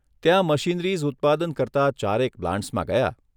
ત્યાં મશીનરીઝ ઉત્પાદન કરતા ચારેક પ્લાન્ટ્સમાં ગયા.